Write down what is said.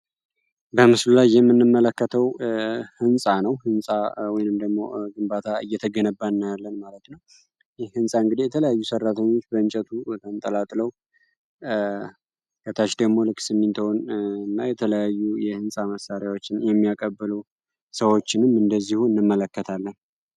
በምስሉላይ የምንመለከተው ሕንፃ ነው። ህንፃ ወይንም ደግሞ ግንባታ እየተገነባናያለን ማለት ነው ይህ ህንፃ እንግዴ የተለያዩ ሰራተኞች በእንጨቱ ተንጠላጥለው ከታች ደግሞ ልክ ስሚንትሆን እና የተለያዩ የሕንፃ መሳሪያዎችን የሚያቀበሉ ሰዎችንም እንደዚሁ እንመለከታለን።